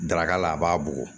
Daraka la a b'a bugɔ